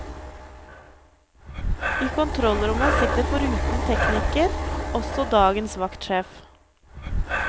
I kontrollrommet sitter foruten teknikker også dagens vaktsjef.